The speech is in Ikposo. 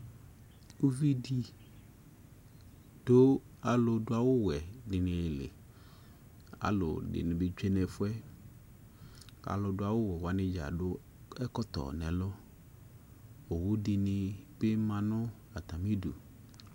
Uvi dι dʋ alʋ dʋ awʋ wɛ dιnι li Alʋ dιnι bι tsyue nʋ ɛfʋ yɛ, alʋ dʋ awʋ wɛ wanι dza adʋ ɛkɔtɔ nʋ ɛlʋ Owu dιnι bι ma nʋ atamι idu